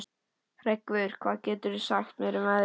Hreggviður, hvað geturðu sagt mér um veðrið?